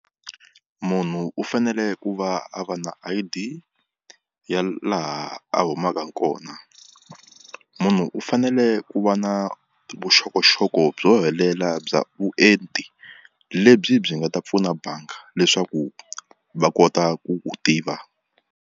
Munhu u fanele ku va a va na I_D ya laha a humaka kona munhu u fanele ku va na vuxokoxoko byo helela bya vuenti lebyi byi nga ta pfuna banga leswaku va kota ku ku tiva.